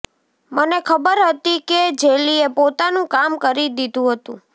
મને ખબર હતી કે જેલીએ પોતાનું કામ કરી દીધું હતું